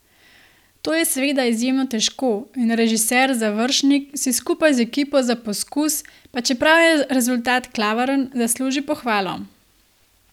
To je seveda izjemno težko in režiser Završnik si skupaj z ekipo za poskus, pa čeprav je rezultat klavrn, zasluži pohvalo.